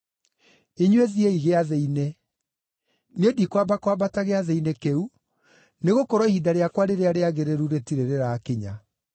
Inyuĩ thiĩi Gĩathĩ-inĩ. Niĩ ndikwamba kwambata Gĩathĩ-inĩ kĩu, nĩgũkorwo ihinda rĩakwa rĩrĩa rĩagĩrĩru rĩtirĩ rĩrakinya.”